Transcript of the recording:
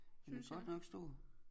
Den er godt nok stor